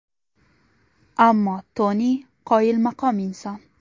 Ammo Toni qoyilmaqom inson.